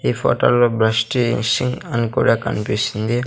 ఈ ఫోటోలో బ్రష్ చేశి అని కూడా కనిపిస్తుంది.